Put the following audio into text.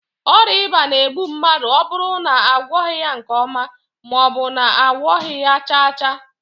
Oria iba na- egbu mmadu oburu na agwoghi ya nke oma, maobu na agwoghi ya chaa chaa